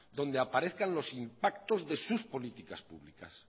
donde aparezcan los impactos de sus políticas públicas